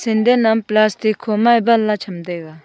sindan am plastic kho ma dan la cham tega.